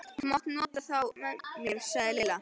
Þú mátt nota þá með mér sagði Lilla.